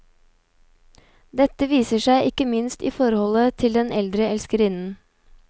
Dette viser seg ikke minst i forholdet til den eldre elskerinnen.